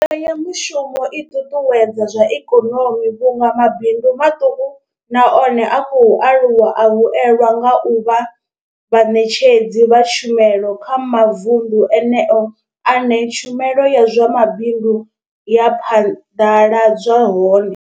Mbekanya mushumo i ṱuṱuwedza zwa ikonomi vhunga mabindu maṱuku na one a khou aluwa a vhuelwa nga u vha vhaṋetshedzi vha tshumelo kha mavundu eneyo ane tshumelo ya zwa mabindu ya phaḓaladzwa hone.